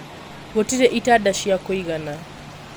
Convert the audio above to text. Gũtirĩ itanda cia kũigana